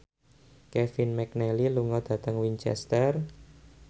Kevin McNally lunga dhateng Winchester